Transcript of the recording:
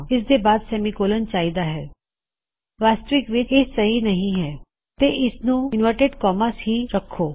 ਇਸਦੇ ਬਆਦ ਸੇਮੀਕੋਲਨ ਚਾਹੀਦਾ ਹੈ ਵਾਸਤਵਿਕ ਵਿੱਚ ਇਹ ਸਹੀ ਨਹੀ ਹੈ ਤੇ ਇਸ ਨੂੰ ਇਨਵਰਟਿਡ ਕੋਮਾਸ ਹੀ ਰੱਖੋ